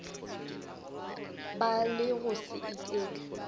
ba le go se iketle